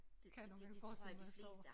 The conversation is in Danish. Kan jeg nogle gange forestille mig jeg står